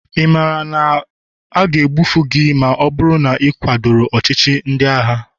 ị maara na a ga-egbu gị ma ọ bụrụ na ị kwadoro ọchịchị ndị agha?